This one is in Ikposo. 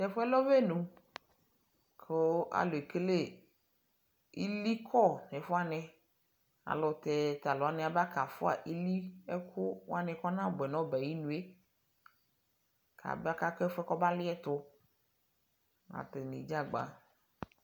Tɛfuɛ lɛ ɔbɛnu kuu aluɛkele ilii kɔ nɛfuwani aluutɛ Taluwanii abakafua iliɛku kɔnabuɛ nɔbɛ ayinue kaba kɛfuɛ kɔbaliɛtuAtaniɛɖʒagba